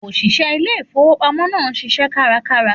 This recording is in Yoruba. Òṣìṣẹ́ ilé ìfowópamọ́ náà ń ṣiṣẹ́ kárakára.